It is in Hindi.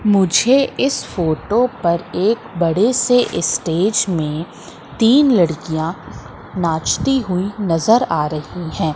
मुझे इस फोटो पर एक बड़े से ईस्टेज में तीन लड़कियां नाचती हुई नजर आ रही है।